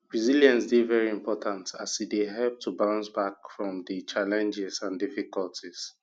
resilience dey very important as e dey help to bounce back from di challenges and difficulties